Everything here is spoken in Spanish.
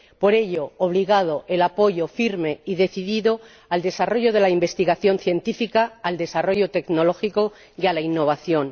Por ello, obligado, el apoyo firme y decidido al desarrollo de la investigación científica, al desarrollo tecnológico y a la innovación.